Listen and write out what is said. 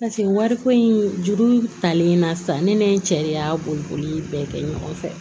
wariko in juru talen na sisan ne ni n cɛ de y'a boli boli bɛɛ kɛ ɲɔgɔn fɛ